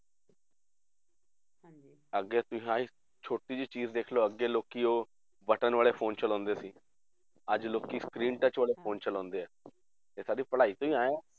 ਅੱਗੇ ਤੁਸੀਂ ਆਹੀ ਛੋਟੀ ਜਿਹੀ ਚੀਜ਼ ਦੇਖ ਲਓ ਅੱਗੇ ਲੋਕੀ ਉਹ ਬਟਨ ਵਾਲੇ phone ਚਲਾਉਂਦੇ ਸੀ, ਅੱਜ ਲੋਕੀ screen touch ਵਾਲੇ phone ਚਲਾਉਂਦੇ ਹੈ ਇਹ ਸਾਡੀ ਪੜ੍ਹਾਈ ਤੋਂ ਹੀ ਆਇਆ ਹੈ